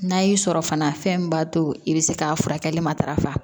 N'a y'i sɔrɔ fana fɛn min b'a to i bɛ se k'a furakɛli matarafa